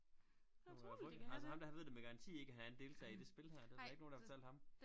Man må da få det altså ham der han ved det med garanti ikke at han er en deltager i det spil her det der da ikke nogen der har fortalt ham